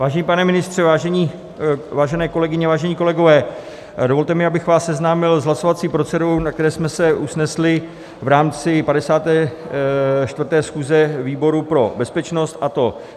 Vážený pane ministře, vážené kolegyně, vážení kolegové, dovolte mi, abych vás seznámil s hlasovací procedurou, na které jsme se usnesli v rámci 54. schůze výboru pro bezpečnost, a to: